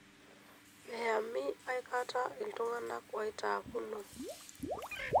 Miyamini aikata iltung'ana oitaakuno.